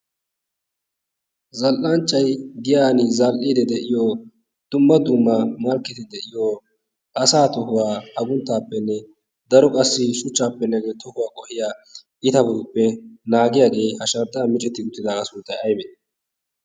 Zal"anchchay giyan zal"idde de'iyo dumma dumma malkketi de'iyo asaa tohuwa aggunttappenne daro qassi shuchchappe tohuwaa qohiyaa iitabappe naagiyaagee ha shanxxan micceti uttidaaga sunttay aybbe?